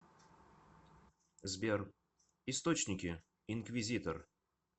сбер источники инквизитор